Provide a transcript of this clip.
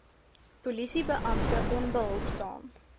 polisie beampte onbehulpsaam